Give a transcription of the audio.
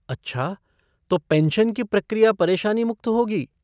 अच्छा, तो पेंशन की प्रक्रिया परेशानी मुक्त होगी?